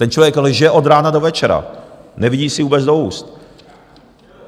Ten člověk lže od rána do večera, nevidí si vůbec do úst.